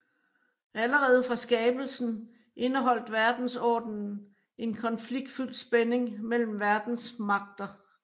Allerede fra skabelsen indeholdt verdensordenen en konfliktfyldt spænding mellem verdens magter